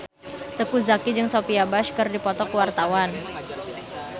Teuku Zacky jeung Sophia Bush keur dipoto ku wartawan